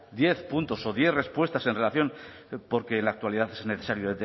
diez puntos o diez respuestas en relación porque en la actualidad es necesario